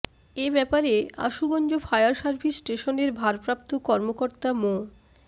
এ ব্যাপারে Ashuganj fire service স্টেশনের ভারপ্রাপ্ত কর্মকর্তা মো